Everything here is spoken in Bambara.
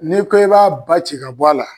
N'i ko i b'a baci ka bɔ a la.